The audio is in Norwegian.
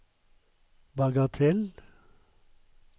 bagatell